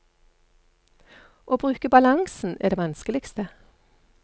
Å bruke balansen er det vanskeligste.